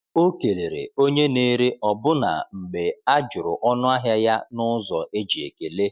O kelere onye na-ere ọbụna mgbe a jụrụ ọnụahịa ya n’ụzọ e ji ekele.